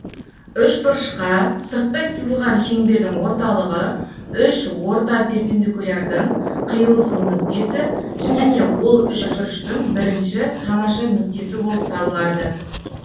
үшбұрышқа сырттай сызылған шеңбердің орталығы үш орта перпендикулярдың қиылысу нүктесі және ол үшбұрыштың бірінші тамаша нүктесі болып табылады